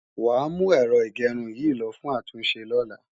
Wàá mú Ẹ̀rọ ìgẹrun yìí lo fún ìtúnṣe lọ́la